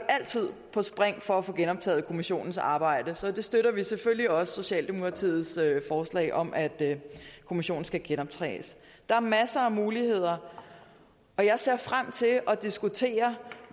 altid på spring for at få genoptaget kommissionens arbejde så vi støtter selvfølgelig også socialdemokratiets forslag om at kommissionen skal genoptages der er masser af muligheder og jeg ser frem til at diskutere